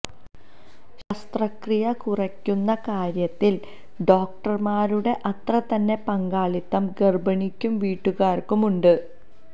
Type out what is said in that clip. ശസ്ത്രക്രിയ കുറയ്ക്കുന്ന കാര്യത്തിൽ ഡോക്ടർമാരുടെ അത്രതന്നെ പങ്കാളിത്തം ഗർഭിണിക്കും വീട്ടുകാർക്കും ഉണ്ട്